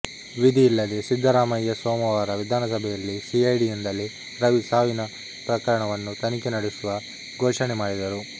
ವಿಧಿಯಿಲ್ಲದೆ ಸಿದ್ದರಾಮಯ್ಯ ಸೋಮವಾರ ವಿಧಾನಸಭೆಯಲ್ಲಿ ಸಿಐಡಿಯಿಂದಲೇ ರವಿ ಸಾವಿನ ಪ್ರಕರಣವನ್ನು ತನಿಖೆ ನಡೆಸುವ ಘೋಷಣೆ ಮಾಡಿದರು